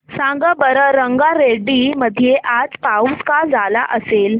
सांगा बरं रंगारेड्डी मध्ये आज पाऊस का झाला असेल